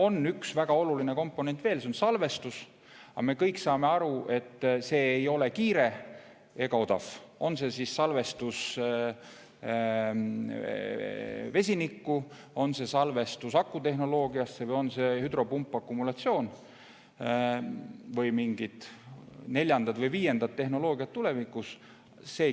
On üks väga oluline komponent veel, see on salvestus, aga me kõik saame aru, et see ei ole kiire ega odav, on see siis salvestus vesinikku, on see salvestus või on see lahendus hüdropumpakumulatsioon või mingi neljas või viies tehnoloogia tulevikus.